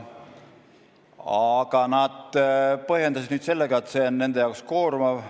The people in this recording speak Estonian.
Aga nad põhjendasid seda nüüd sellega, et see on nende jaoks koormav.